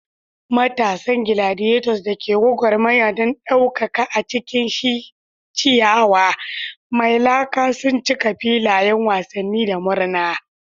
Matasan gladiators da ke gwagwarmaya don daukaka a cikin ciyawa mai laka sun cika filayen wasanni da murna.